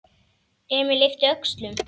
Emil yppti öxlum.